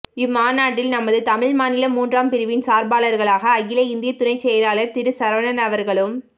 இம்மாநாட்டில் நமது தமிழ் மாநில மூன்றாம் பிரிவின் சார்பாளர்களாக அகில இந்திய துணை செயலாளர் திரு சரவணன் அவர்களும்